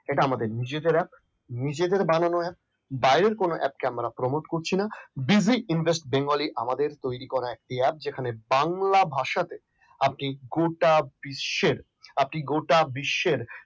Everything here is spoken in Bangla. এটা আমাদের নিজেদের app এক নিজেদের বানানো app বাইরের কোন app আমরা promote করছি না। buzy invest bengali আমাদের তৈরি করা একটি app যেখানে বাংলা ভাষাতে আপনি গোটা বিশ্বের আপনি গোটা বিশ্বের